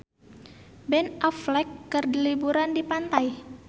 Ben Affleck keur liburan di pantai